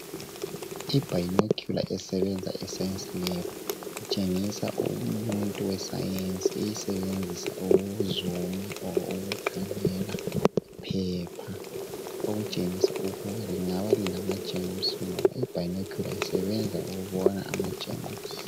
Ibionocular esebenza eScience lab. Itshengisa umuntu weScience eyisebenzisa ukuzoomer kumbe ukukhangela iphepha. Okutshengisa ukuba lingabe lilamajemusi, ngoba ibionocular isebenza ukubona amagerms.